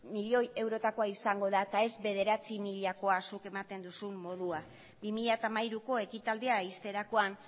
milioi eurotakoa izango da eta ez bederatzi milakoa zuk ematen duzun moduan bi mila hamairuko ekitaldia ixterakoan